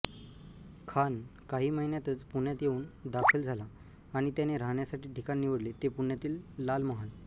खान काही महिन्यातच पुण्यात येऊन दाखल झाला आणि त्याने राहण्यासाठी ठिकाण निवडले ते पुण्यातील लालमहाल